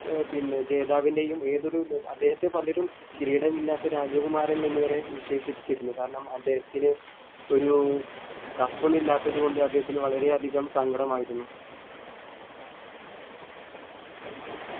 ഏർ പിന്നെ ജേതാവിൻറെയും ഏതൊരു നെ അദ്ദേഹത്തെ പലരും കിരീടം ഇല്ലാത്ത രാജകുമാരൻ എന്ന് വരെ വിശേഷിപ്പിച്ചിരുന്നു കാരണം അദ്ദേഹത്തിന് ഒരു cup ന്നു ഇല്ലാത്തത് കൊണ്ട് അദ്ദേഹത്തിന് വളരെ അധികം സങ്കടമായിരുന്നു